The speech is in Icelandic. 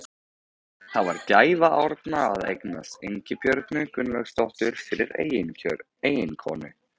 Það var gæfa Árna að eignast Ingibjörgu Gunnlaugsdóttur fyrir eiginkonu.